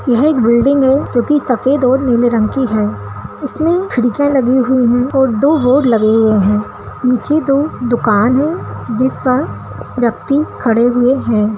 यह एक बिल्डिंग है जो सफेद और नीले रंग की है इसमें खिड़कियाँ लगी हुई हैं और दो बोर्ड लगे हुए हैं नीचे दो दुकानें हैं पर लोग खड़े हैं ।